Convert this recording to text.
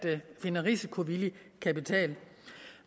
finde risikovillig kapital